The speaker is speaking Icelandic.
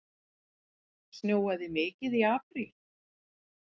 Snjóaði mikið í apríl?